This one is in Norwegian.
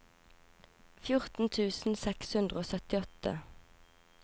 fjorten tusen seks hundre og syttiåtte